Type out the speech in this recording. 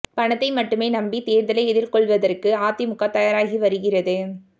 பணத்தை மட்டுமே நம்பி தேர்தலை எதிர்கொள்வதற்கு அதிமுக தயாராகி வருகிறது